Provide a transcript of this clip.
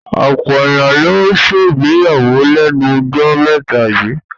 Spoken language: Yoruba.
Ọ̀pọ̀ èyàn ló ń ṣègbéyàwó lẹ́nu jọ́ mẹ́ta yíì.